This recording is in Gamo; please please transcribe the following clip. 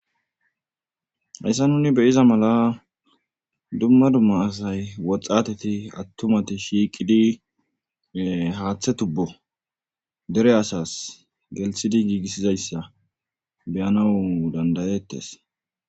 hessa nuni beyiza mala dumma dumma asay woxxateti attumati shiiqidi haaththe tubbo dere asas gelshidi giigissizayssa beyanau dandayettes